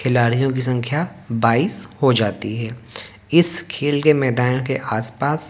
खिलाड़ियों की संख्या बाइस हो जाती है इस खेल के मैदान के आसपास--